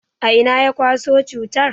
A'ina ya kwaso cutan?